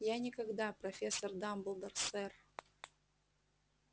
я никогда профессор дамблдор сэр